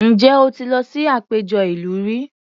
Ǹjẹ́ o ti lọ sí àpéjọ ìlú rí?